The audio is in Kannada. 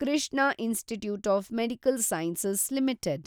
Krishna institute of medical science limited